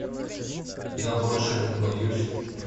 я больше не боюсь